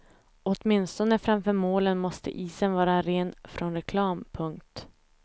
Åtminstone framför målen måste isen vara ren från reklam. punkt